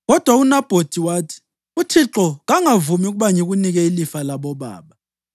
Kodwa uNabhothi wathi, “ UThixo kangavumi ukuba ngikunike ilifa labobaba.”